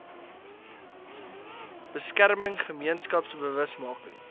beskerming gemeenskaps bewusmaking